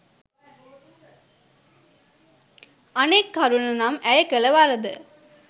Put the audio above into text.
අනෙක් කරුණ නම් ඇය කල වරද